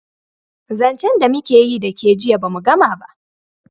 zancen da mu keyi da ke jiya ba mu Gama ba